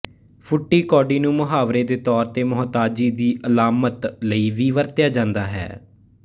ਫੁੱਟੀ ਕੋਡੀ ਨੂੰ ਮੁਹਾਵਰੇ ਦੇ ਤੌਰ ਤੇ ਮੁਹਤਾਜੀ ਦੀ ਅਲਾਮਤ ਲਈ ਵੀ ਵਰਤਿਆ ਜਾਂਦਾ ਹੈ